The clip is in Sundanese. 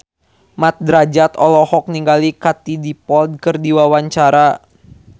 Mat Drajat olohok ningali Katie Dippold keur diwawancara